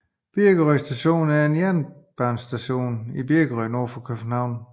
Birkerød Station er en jernbanestation i Birkerød nord for København